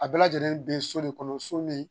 A bɛɛ lajɛlen be so de kɔnɔ so min